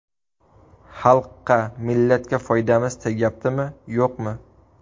Xalqqa, millatga foydamiz tegyaptimi yo‘qmi?